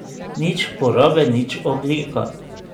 Nič porabe, nič ogljika.